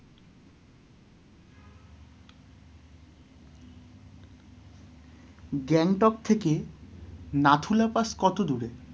গ্যাংটক থেকে নাথুলা পাস কত দূরে?